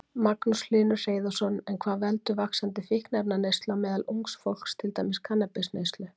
Magnús Hlynur Hreiðarsson: En hvað veldur vaxandi fíkniefnaneyslu á meðal ungs fólks, til dæmis kannabisneyslu?